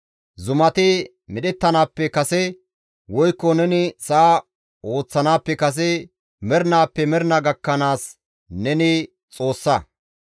Zumati medhettanaappe kase, woykko neni sa7a ooththanaappe kase mernaappe mernaa gakkanaasi neni Xoossa.